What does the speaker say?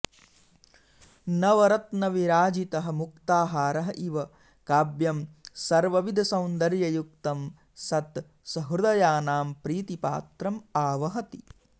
नवरत्नविराजितः मुक्ताहारः इव काव्यं सर्वविधसौन्दर्ययुक्तं सत् सहृदयानां प्रीतिपात्रम् आवहति